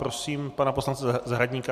Prosím pana poslance Zahradníka